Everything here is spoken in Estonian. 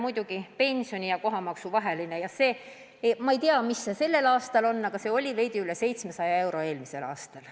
Mullu oli pensioni ja kohatasu vahe – ma ei tea, mis see tänavu on – veidi üle 700 euro.